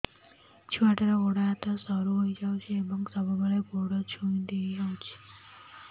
ଛୁଆଟାର ଗୋଡ଼ ହାତ ସରୁ ହୋଇଯାଇଛି ଏବଂ ସବୁବେଳେ ଗୋଡ଼ ଛଂଦେଇ ହେଉଛି